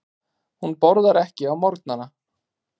Hún borðar ekki á morgnana.